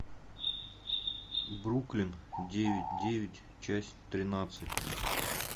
бруклин девять девять часть тринадцать